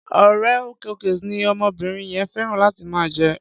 Oreo cookies ni omobìnrin yẹn féràn láti máa jẹ.